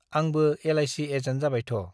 आंबो L I C agent जाबायथ' ।